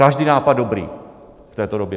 Každý nápad dobrý v této době.